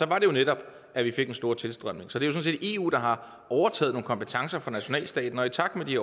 det netop at vi fik den store tilstrømning så det set eu der har overtaget nogle kompetencer fra nationalstaterne og i takt med at de